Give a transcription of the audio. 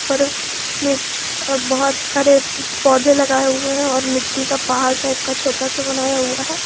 और बहुत सारे पौधे लगाए हुए हैं और मिट्टी का पहाड़ टाइप का छोटा सा बनाया हुआ है।